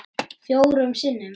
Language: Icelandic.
Fjórum sinnum?